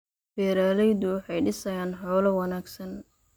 Beeraleydu waxay dhisayaan xoolo wanaagsan.